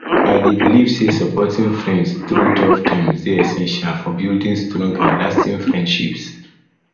i dey believe say supporting friends through tough times dey essential for building strong and lasting friendships